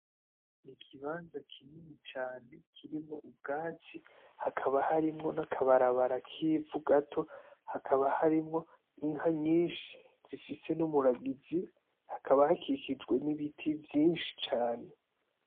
Ikibanza kinini cane kirimwo ubwatsi hakaba harimwo n' akabarabara k'ivu gato, hakaba harimwo n'inka nyinshi zifise n'umuragizi hakaba hakikijwe n'ibiti vyinshi cane.